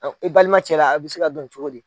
i balima cɛla a bɛ se ka dɔn cogo di.